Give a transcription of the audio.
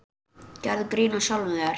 Gerðu grín að sjálfum þér.